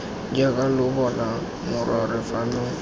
jaaka lo bona morwarre fano